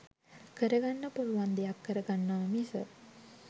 කරගන්න පුළුවන් දෙයක් කරගන්නව මිස.